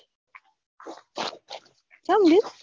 ચમ લી